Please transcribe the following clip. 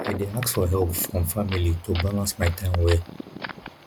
i dey ask for help from family to balance my time well